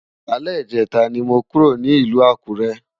Alè Ijètá ni mó kúró ni Ilù Akure